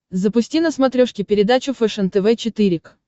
запусти на смотрешке передачу фэшен тв четыре к